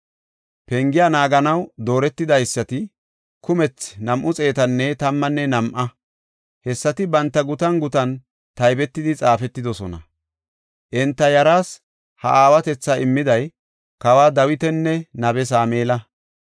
Pengiya naaganaw dooretidaysati kumethi nam7u xeetanne tammanne nam7a; hessati banta gutan gutan taybetidi xaafetidosona. Enta yaras ha aawatetha immiday kawa Dawitanne nabiya Sameela.